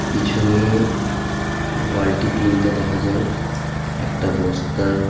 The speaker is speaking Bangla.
পিছনে বালটি তিনটা দেখা যায় একটা বস্তা .